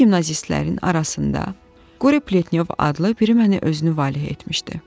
Bu gimnazistlərin arasında Qori Pletnyov adlı biri məni özünü valeh etmişdi.